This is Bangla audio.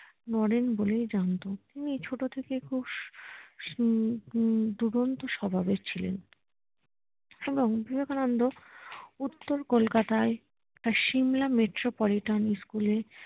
নরেন বলেই জানত উনি ছোট থেকে খুব দুরন্ত স্বভাবের ছিলেন এবং বিবেকানন্দ উত্তর কোলকাতায় তার সিমলা মেট্রো পলিট্রন স্কুল এ